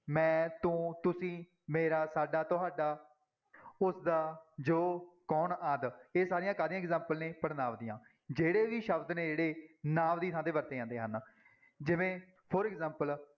ਮੈਂ, ਤੂੰ, ਤੁਸੀਂ, ਮੇਰਾ, ਸਾਡਾ, ਤੁਹਾਡਾ, ਉਸਦਾ, ਜੋ, ਕੌਣ ਆਦਿ ਇਹ ਸਾਰੀਆਂ ਕਾਹਦੀਆਂ example ਨੇ ਪੜ੍ਹਨਾਂਵ ਦੀਆਂ, ਜਿਹੜੇ ਵੀ ਸ਼ਬਦ ਨੇ ਜਿਹੜੇ ਨਾਂਵ ਦੀ ਥਾਂ ਤੇ ਵਰਤੇ ਜਾਂਦੇ ਹਨ ਜਿਵੇਂ for example